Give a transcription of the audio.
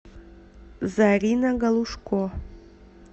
зарина галушко